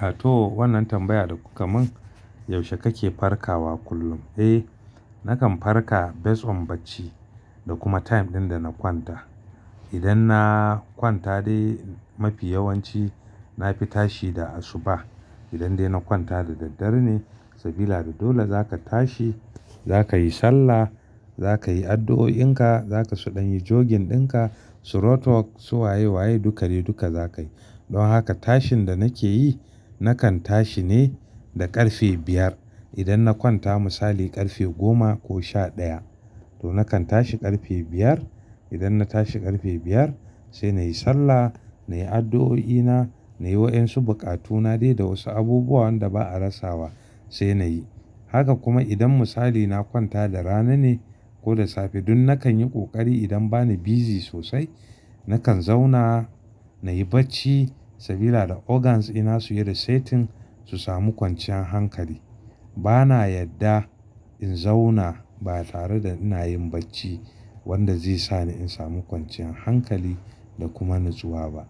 Ah to, wannan tambaya da kuka mun, yaushe kake farkawa kullum? Eh nakan farka based on bacci da kuma time ɗin da na kwanta. Idan na kwanta dai mafi yawanci nafi tashi da asuba. Idan dai na kwanta da daddare ne, sabila da dole zaka tashi, zaka yi sallah, zaka yi addu'o'inka, zaka su ɗan yi jogin ɗinka, throat work su waye waye duka dai, duka zakayi. Dan haka tashin da nake yi, nakan tashi ne da ƙarfe biyar. Idan na kwanta misali ƙarfe goma ko sha ɗaya. To nakan tashi ƙarfe biyar. Idan na tashi ƙarfe biyar, sai nayi sallah, nayi addu'o'ina, nayi wa ƴan su buƙatu na dai da wasu abubuwa wanda ba'a rasawa sai nayi. Haka kuma idan misali na kwanta da rana ne ko da safe, dan nakan yi ƙoƙari idan bani busy sosai, nakan zauna nayi bacci sabila da organs ina suyi resetting, su samu kwanciyan hankali. Bana yadda in zauna ba tare da ina yin bacci wanda zai sani in samu kwanciyan hankali da kuma natsuwa ba.